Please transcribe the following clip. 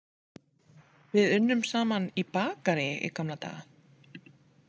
Við unnum saman í bakaríi í gamla daga.